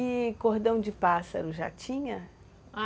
E cordão de pássaro, já tinha?